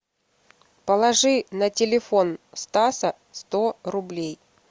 положи на телефон стаса сто рублей